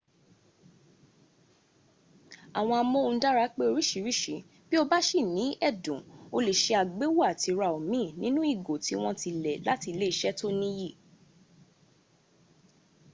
àwọn amóhundára pé orísìírísìí bí o bá sìní ẹ̀dùn o lè se àgbéwò à ti ra omi nínú ìgò tí wọ́n ti lẹ̀ láti iléeṣẹ́ tó níyì